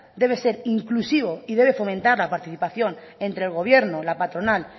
debe ser inclusivo y fomentar la participación entre el gobierno la patronal